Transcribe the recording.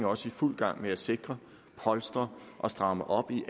også i fuld gang med at sikre polstre og stramme op i